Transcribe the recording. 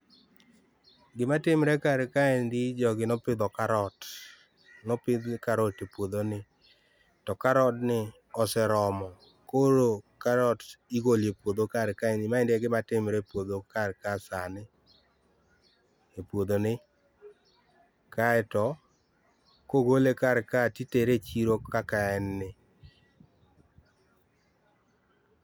Gimatimre kar kaendi jogi ne opitho karot nopith karot e puothoni to karodni oseromo koro karot igolo e puotho kar kaendi maendi e gimatimore e puotho kar ka sani , e puothoni kaeto kogole karkae to itere e chiro kaka enno